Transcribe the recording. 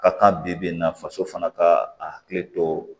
Ka kan bi bi in na faso fana ka a hakili to